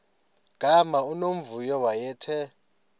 gama unomvuyo wayethe